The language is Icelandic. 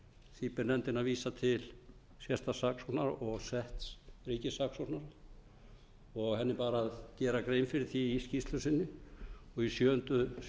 því ber nefndinni að vísa til sérstaks saksóknara og setts ríkissaksóknara og henni bar að gera grein fyrir því í skýrslu sinni í